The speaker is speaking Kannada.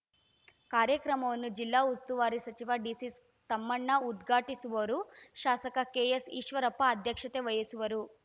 ಕಾರ್ಯಕ್ರಮವನ್ನು ಜಿಲ್ಲಾ ಉಸ್ತುವಾರಿ ಸಚಿವ ಡಿಸಿ ತಮ್ಮಣ್ಣ ಉದ್ಘಾಟಿಸುವರು ಶಾಸಕ ಕೆಎಸ್‌ ಈಶ್ವರಪ್ಪ ಅಧ್ಯಕ್ಷತೆ ವಹಿಸುವರು